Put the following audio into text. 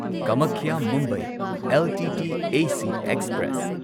Kamakhya Mumbai LTT AC express